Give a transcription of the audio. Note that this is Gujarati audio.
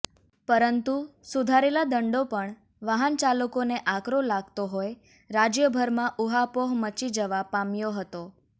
પરંતુ સુધારેલા દંડો પણ વાહન ચાલકોને આકરો લાગતો હોય રાજ્યભરમાં ઉહાપોહ મચી જવા પામ્યો હતો